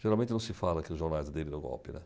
Geralmente não se fala que o jornalista aderiu o golpe, né?